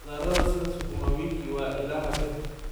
Khudradda sida sukuma wiki waa ilaha birta.